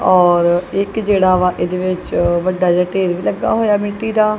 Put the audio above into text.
ਔਰ ਇੱਕ ਜਿਹੜਾ ਵਾ ਇਹਦੇ ਵਿੱਚ ਵੱਡਾ ਜਿਹਾ ਢੇਰ ਲੱਗਾ ਹੋਇਆ ਮਿੱਟੀ ਦਾ--